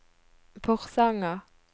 Porsanger